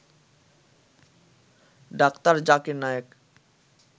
ডাঃ জাকির নায়েক